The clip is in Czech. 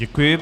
Děkuji.